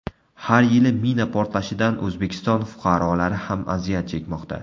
Har yili mina portlashidan O‘zbekiston fuqarolari ham aziyat chekmoqda.